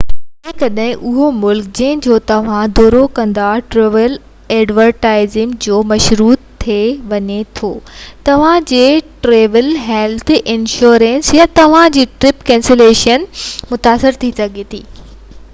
جيڪڏهن اهو ملڪ جنهن جو توهان دورو ڪندا ٽريول ايڊوائزري جو مشروط ٿي وڃي ٿو ته توهان جي ٽريول هيلٿ انشورنس يا توهان جي ٽرپ ڪينسيليشن انشورنس متاثر ٿي سگهي ٿي